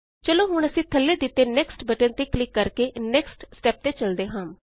ਚਲੋ ਹੁਣ ਅਸੀਂ ਥੱਲੇ ਦਿੱਤੇ ਨੈਕਸਟ ਬਟਨ ਤੇ ਕਲਿਕ ਕਰਕੇ ਨੇਕ੍ਸਟ ਸਟੇਪ ਤੇ ਚਲਦੇ ਹਾਂ